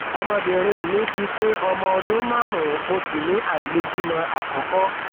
ọmọbìnrin mi ti pé ọmọ ọdún márùnún mo sì ní àìlèbímọ àkọkọ